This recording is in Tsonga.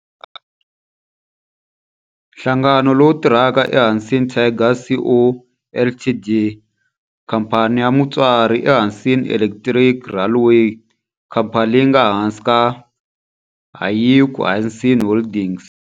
Nhlangano lowu tirhaka i Hanshin Tigers Co., Ltd. Khamphani ya mutswari i Hanshin Electric Railway, khamphani leyi nga ehansi ka Hankyu Hanshin Holdings.